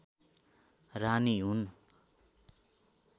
रानी हुन्